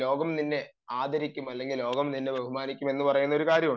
ലോകം നിന്നെ ആദരിക്കും ലോകം നിന്നെ ബഹുമാനിക്കും എന്ന് പറയുന്ന ഒരു കാര്യമുണ്ട്